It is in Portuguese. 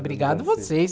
Obrigado vocês.